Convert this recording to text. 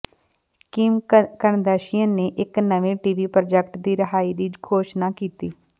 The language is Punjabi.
ਕਿਮ ਕਰਦਸ਼ੀਅਨ ਨੇ ਇੱਕ ਨਵੇਂ ਟੀਵੀ ਪ੍ਰੋਜੈਕਟ ਦੀ ਰਿਹਾਈ ਦੀ ਘੋਸ਼ਣਾ ਕੀਤੀ